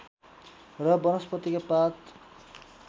र वनस्पतिका पात